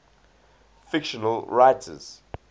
fictional writers